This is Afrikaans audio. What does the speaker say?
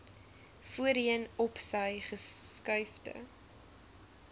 voorheen opsy geskuifde